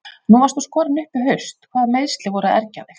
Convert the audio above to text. Nú varst þú skorinn upp í haust hvaða meiðsli voru að ergja þig?